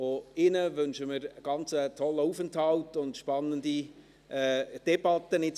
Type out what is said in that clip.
Auch Ihnen wünschen wir einen ganz tollen Aufenthalt und spannende Debatten.